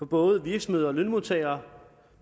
både virksomheder og lønmodtagere